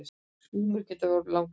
Skúmar geta orðið langlífir.